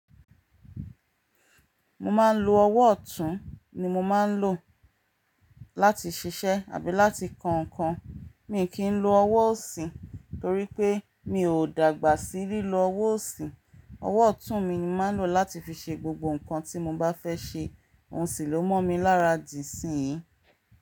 Mo máa ń lo ọwọ́ ọ̀tún ni mo máa ń lò láti ṣiṣẹ́ àbí láti kọ ǹkan. Mi kì í lo ọwọ́ òsì torí pé mi ò dàgbà sí lílo ọwọ́ òsì. Ọwọ́ ọ̀tún mi ni máa ń lò láti fi ṣe gbogbo ǹkan tí mo bá fẹ́ ṣe. Ohun sì ló mọ̀ mi lára dì síyìí.